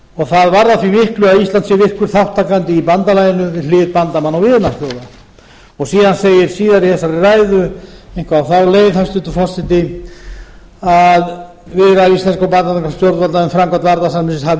það varðar því miklu að ísland sé virkur þátttakandi í bandalaginu við hlið bandamanna og vinaþjóða síðar í ræðunni segir eitthvað á þá leið hæstvirtur forseti að viðræður íslenskra og bandarískra stjórnvalda um framkvæmd varnarsamningsins hafi